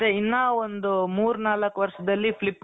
ಇನ್ನಾ ಒಂದು ಮೂರ್ನಾಲ್ಕು ವರ್ಷದಲ್ಲಿ flip